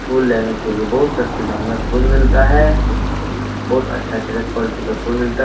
फूल लेने के लिए बहुत सस्ते दाम में फूल मिलता है बहुत अच्छा-अच्छा क्वालिटी का फूल मिलता --